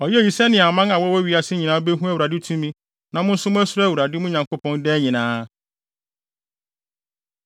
Ɔyɛɛ eyi sɛnea aman a wɔwɔ wiase nyinaa behu Awurade tumi na mo nso moasuro Awurade, mo Nyankopɔn, daa nyinaa.”